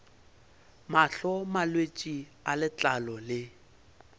mahlo malwetse a letlalo le